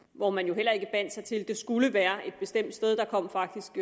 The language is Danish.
hvor man jo heller ikke bandt sig til at det skulle være et bestemt sted der kom faktisk